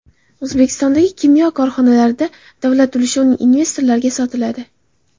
O‘zbekistonda kimyo korxonalaridagi davlat ulushi investorlarga sotiladi.